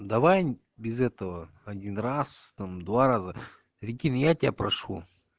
давай без этого один раз там два раза прикинь я тебя прошу